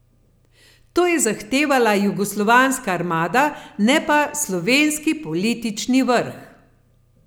To je zahtevala jugoslovanska armada, ne pa slovenski politični vrh.